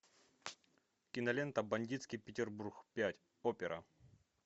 кинолента бандитский петербург пять опера